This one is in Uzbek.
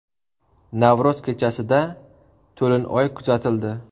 Navro‘z kechasida to‘lin oy kuzatildi .